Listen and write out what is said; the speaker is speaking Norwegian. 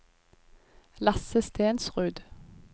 Lasse Stensrud